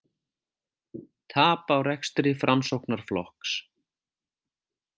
Tap á rekstri Framsóknarflokks